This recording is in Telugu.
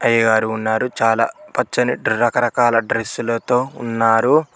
అయ్యగారు ఉన్నారు చాలా పచ్చని రకరకాల డ్రెస్సులతో ఉన్నారు.